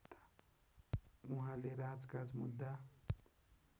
उहाँले राजकाज मुद्दा